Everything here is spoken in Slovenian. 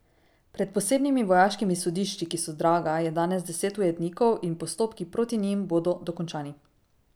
Pred posebnimi vojaškimi sodišči, ki so draga, je danes deset ujetnikov in postopki proti njim bodo dokončani.